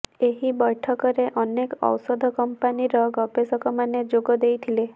ଏହି ବୈଠକରେ ଅନେକ ଔଷଧ କମ୍ପାନୀର ଗବେଷକମାନେ ଯୋଗ ଦେଇଥିଲେ